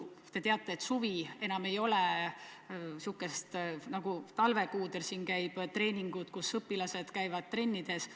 Te teate, et suvel ei ole nii nagu talvekuudel, et käivad treeningud, õpilased käivad trennides.